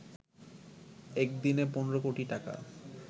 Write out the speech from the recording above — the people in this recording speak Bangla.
একদিনে ১৫ কোটি টাকা